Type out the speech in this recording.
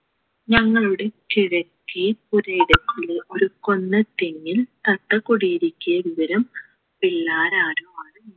ഞങ്ങളുടെ കിഴക്കേ പുരയി ടത്തിലെ ഒരു കൊന്നത്തെങ്ങിൽ തത്ത കുടിയൊരുക്കിയ വിവരം പിള്ളാർ ആരോ ആണ്